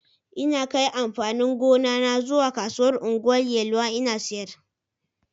Ina kai amfanin gona na zuwa kasuwar Ungwan Yelwa in sayar.